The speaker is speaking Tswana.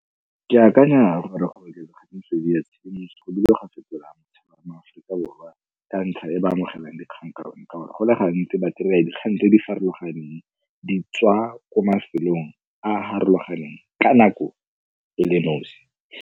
Ke akanya gore ga metswedi ya tshedimosetso go bile ga fetola mo Aforika Borwa ka ntlha e ba amogelang dikgang ka yona ka gore go le gantsi ba kry-a dikgang tse di farologaneng di tswa ko mafelong a a farologaneng ka nako e le nosi.